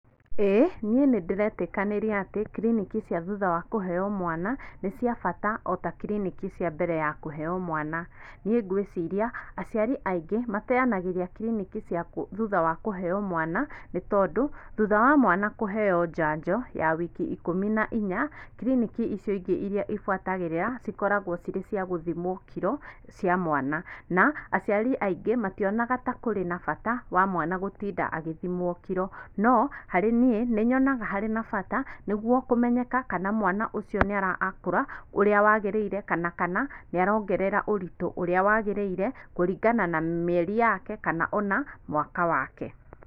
Ĩĩ niĩ nĩndĩretĩkanĩria atĩ kiriniki cia thutha wa kũheo mwana nĩ cia bata ota kiriniki cia mbere ya kuhewa mwana niĩ gwĩciria aciari aingĩ mateanagĩria kiriniki thutha wa kuheo mwana nĩtondũ, thutha wa mwana kũheo njanjo ya wiki ikũmi na inya, kiriniki icio ingĩ iria ifuatagĩrĩra cikoragwo cirĩ cia gũthimũo kiro cia mwana na, aciari aingĩ matĩonaga ta kũrĩ na bata wa mwana gũtinda agĩthimwo kiro no, harĩ niĩ nĩ nyonaga harĩ na bata nĩguo kũmenyeka kana mwana ũcio nĩarakũra ũrĩa wagĩrĩire kana nĩarongera ũritũ ũrĩa wagĩrĩire kũringana na mĩeri yake kana ona mwaka wake.